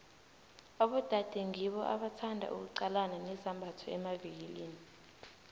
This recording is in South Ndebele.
abodade ngibo abathanda ukuqalana nezambatho emavikilini